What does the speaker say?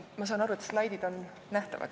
Ma saan aru, et slaidid on nähtavad.